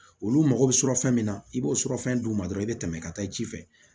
Olu mago bɛ sɔrɔ fɛn min na i b'o sɔrɔ fɛn d'u ma dɔrɔn i be tɛmɛ ka taa i ji fɛ